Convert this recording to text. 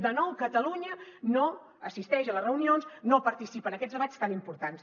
de nou catalunya no assisteix a les reunions no participa en aquests debats tan importants